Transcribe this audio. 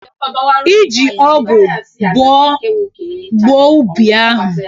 I ji ọgụ boo gbuo ubi ahụ.